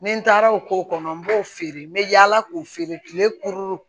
Ni n taara o ko kɔnɔ n b'o feere n bɛ yaala k'o feere kile